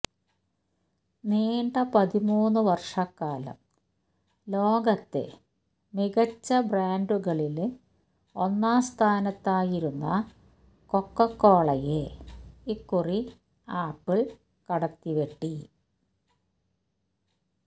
നീണ്ട പതിമൂന്നു വര്ഷക്കാലം ലോകത്തെ മികച്ച ബ്രാന്ഡുകളില് ഒന്നാം സ്ഥാനത്തായിരുന്ന കൊക്കക്കോളയെ ഇക്കുറി ആപ്പിള് കടത്തിവെട്ടി